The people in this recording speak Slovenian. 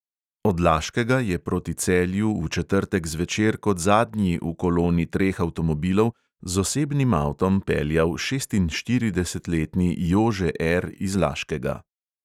Od laškega je proti celju v četrtek zvečer kot zadnji v koloni treh avtomobilov z osebnim avtom peljal šestinštiridesetletni jože R iz laškega.